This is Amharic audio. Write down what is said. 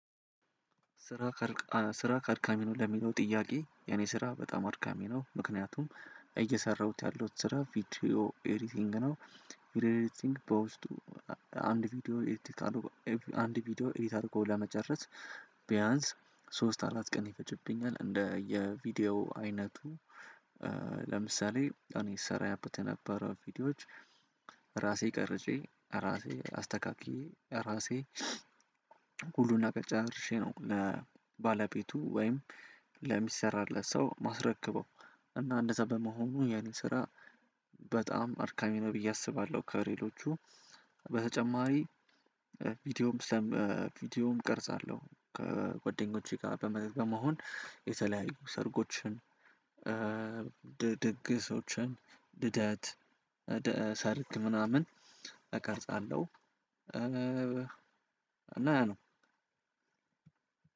ስራህ አድካሚ ነው? ለሚለው ጥያቄ የኔ ስራ በጣም አድካሚ ነው ምክንያቱም እየሰራሁት ያለው ስራ ቪዲዮ ኤዲቲንግ ነው። ቪዲዮ ኤዲቲንግ በውስጡ አንድ ቪዲዮ ኤዲት አድርጎ ለመጨረስ ቢያንስ ሶስት አራት ቀን ይፈጅብኛል እንደየ ቪዲዮ አይነቱ። ለምሳሌ እኔ ስሰራበት የነበረው ቪዲዮዎች ራሴ ቀርጬ ራሴ አስተካክየ ራሴ ሁሉን ነገር ጨራርሼ ነው ለባለቤቱ ለሚሰራለት ሰው የማስረክበው። እና እንደዛ በመሆኑ የእኔ ስራ በጣም አድካሚ ነው ብየ አስባለሁ። ከሌሎቹ በተጨማሪ ቪዲዮም ቅርጽ አለው ከጎደኞቼ ጋር በመሆን የተለያዩ ሰርጎችን ድግሶችን ለደት ሰርግ ምናምን እቀርጻለሁ። እና ያ ነው